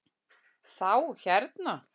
Þá hérna.